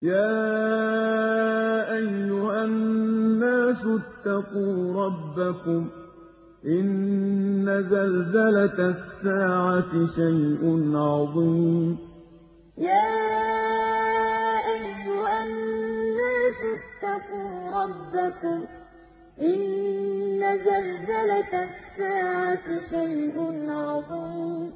يَا أَيُّهَا النَّاسُ اتَّقُوا رَبَّكُمْ ۚ إِنَّ زَلْزَلَةَ السَّاعَةِ شَيْءٌ عَظِيمٌ يَا أَيُّهَا النَّاسُ اتَّقُوا رَبَّكُمْ ۚ إِنَّ زَلْزَلَةَ السَّاعَةِ شَيْءٌ عَظِيمٌ